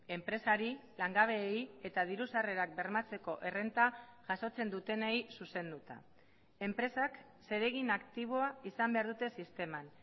enpresari langabeei eta diru sarrerak bermatzeko errenta jasotzen dutenei zuzenduta enpresak zeregin aktiboa izan behar dute sisteman